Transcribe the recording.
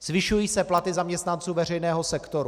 Zvyšují se platy zaměstnanců veřejného sektoru.